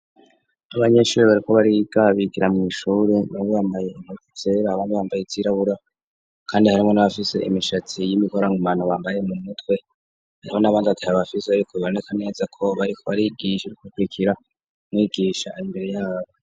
Abanyeshuri bariko barigabikira mu ishuri nabu bambaye imuitsere abantu bambaye itsirabura kandi harimo n'abafise imishatsi y'imikorank mantu bambaye mu mutwe harimo n'abandi bataye abafize ariko biboneka neza ko bariko arigiserka kwikira mwigisha imbere yabo.